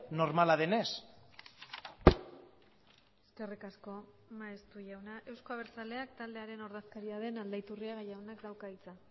normala denez eskerrik asko maeztu jauna euzko abertzaleak taldearen ordezkaria den aldaiturriaga jaunak dauka hitza